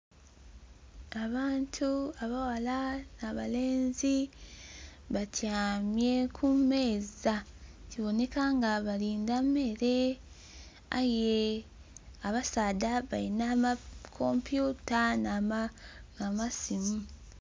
Abantu abaghala na balenzi batyamye ku meeza kiboneka nga balinda mmere aye abasaadha balina amakompyuta na masiimu.